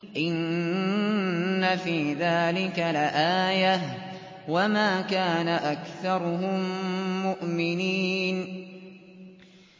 إِنَّ فِي ذَٰلِكَ لَآيَةً ۖ وَمَا كَانَ أَكْثَرُهُم مُّؤْمِنِينَ